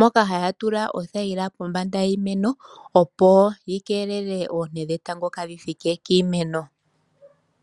moka haya tula othayila kombanda yiimeno opo yi keelele oonte dhetango kaadhithike kiimeno.